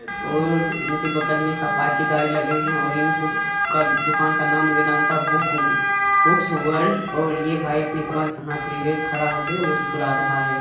और इसके बगल में एक अपाची गाड़ी लगे हैं और इन बुक्स का दुकान का नाम वेदान्ता बुक बुक्स वल्ड और ये भाई अपनी कमर पे हाथ लिए हुए खड़ा होके मुस्कुरा रहा हैं।